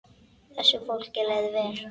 Þessu fólki leið vel.